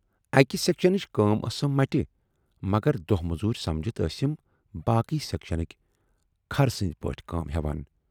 اکہِ سیکشنٕچ کٲم ٲسٕم مٹہِ، مگر دۅہ موزوٗر سمجِتھ ٲسِم باقٕے سیکشنٕکۍ خرٕ سٕندۍ پٲٹھۍ کٲم ہٮ۪وان۔